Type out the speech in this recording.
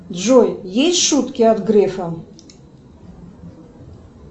джой есть шутки от грефа